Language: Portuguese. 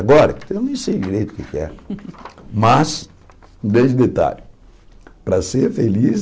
Agora, eu nem sei direito o que é que é. Mas, um grande detalhe, para ser feliz,